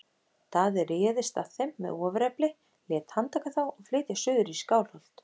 Daði réðist að þeim með ofurefli, lét handtaka þá og flytja suður í Skálholt.